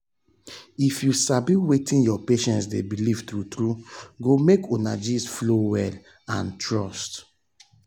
if you sabi wetin your patient dey believe true true go make una gist flow well and trust um go strong.